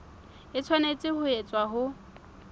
e tshwanetse ho etswa ho